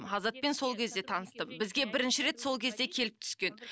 азатпен сол кезде таныстым бізге бірінші рет сол кезде келіп түскен